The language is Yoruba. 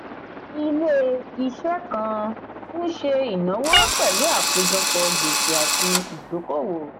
ilé-iṣẹ́ kan ń ṣe ìnáwó pẹ̀lú àkójọpọ̀ gbèsè àti ìdókòwò.